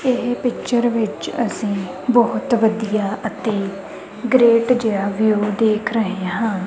ਏਹ ਪਿਕਚਰ ਵਿੱਚ ਅੱਸੀ ਬੋਹੁਤ ਵਧੀਆ ਅਤੇ ਗ੍ਰੇਟ ਜੇਹਾ ਵਿਊ ਦੇਖ ਰਹੇ ਹਾਂ।